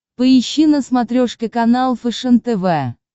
поищи на смотрешке канал фэшен тв